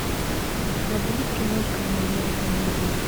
у тебя будет киношка в манере комедии